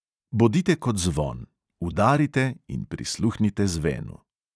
Bodite kot zvon: udarite in prisluhnite zvenu.